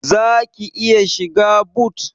Zaki iya shiga but?